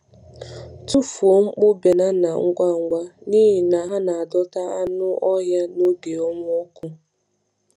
Tụfuo nkpụ banana ngwa ngwa, n’ihi na ha na-adọta anụ anụ ọhịa n’oge ọnwa ọkụ.